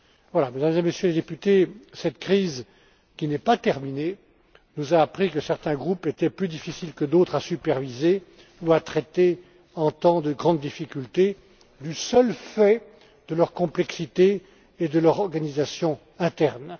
Voilà, Mesdames et Messieurs les députés, cette crise, qui n'est pas terminée, nous a appris que certains groupes étaient plus difficiles que d'autres à superviser ou à traiter en temps de grande difficulté, du seul fait de leur complexité et de leur organisation interne.